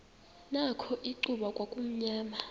nakho icuba kwakumnyama